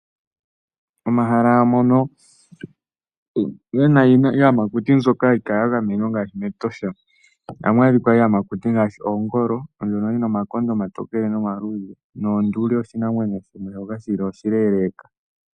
Omahala mono gena iiyamakuti mbyono hayi kala ya gamenwa ngaashi mEtosha, ohamu adhika iiyamakuti ngaashi ongolo ndjono yina omakonda omatokele nomaluudhe nonduli oshinamwenyo shimwe shoka shili oshileeleka.